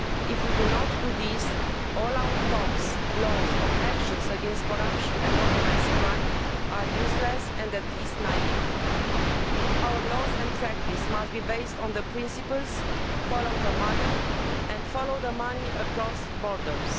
If we do not do this, all our talk, laws or actions against corruption and organised crime are useless and, at the very least, naive. Our laws and practice must be based on the principles follow the money' and follow the money across borders'.